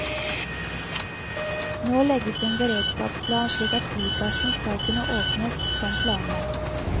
Nå legges en beredskapsplan slik at flyplassen skal kunne åpnes som planlagt.